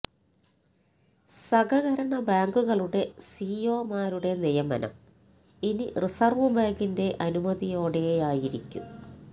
സഹകരണ ബാങ്കുകളുടെ സിഇഒമാരുടെ നിയമനം ഇനി റിസർവ് ബാങ്കിന്റെ അനുമതിയോടെയായിരിക്കും